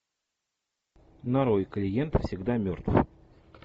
нарой клиент всегда мертв